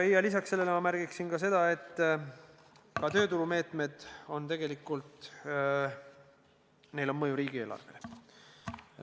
Lisaks sellele ma märgin, et ka tööturumeetmetel on tegelikult mõju riigieelarvele.